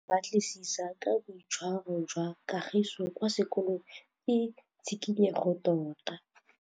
Go batlisisa ka boitshwaro jwa Kagiso kwa sekolong ke tshikinyêgô tota.